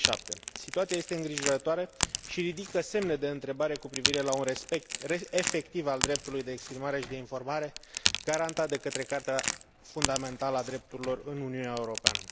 2007. Situația este îngrijorătoare și ridică semne de întrebare cu privire la un respect efectiv al dreptului de exprimare și de informare garantat de către Carta fundamentală a drepturilor omului în Uniunea Europeană.